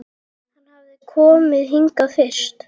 Hann hafði komið hingað fyrst